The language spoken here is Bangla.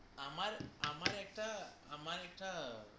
আমার আমার একটা আমার একটা